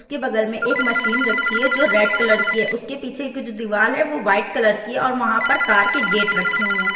इस के बगल मे एक मशीन रखी है जो रेड कलर की है उस के पीछे कुछ दीवाल है वो वाट कलर की है और वहां पर एक कार के गेट रखे हुए हैं।